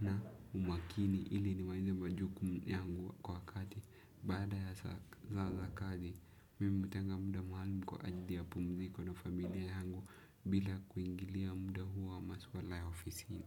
na umakini ili nimalize majukumu yangu kwa wakati. Baada ya saa za kazi, mimi hutenga muda maalum kwa ajili ya pumziko na familia yangu bila kuingilia muda huwa maswala ya ofisini.